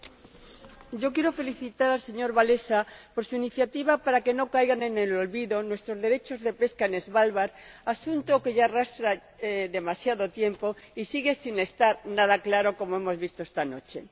Señora Presidenta, quiero felicitar al señor Wałęsa por su iniciativa para que no caigan en el olvido nuestros derechos de pesca en Svalbard —asunto que se arrastra ya desde hace demasiado tiempo y sigue sin estar nada claro, como hemos visto esta noche—.